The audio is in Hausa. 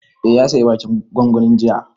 Eh, ya saya waken gwangwanin jiya